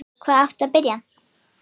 Hvar áttu að byrja?